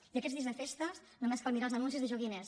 i aquests dies de festes només cal mirar els anuncis de joguines